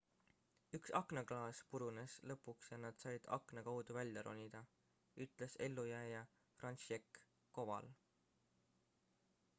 üks aknaklaas purunes lõpuks ja nad said akna kaudu välja ronida ütles ellujääja franciszek kowal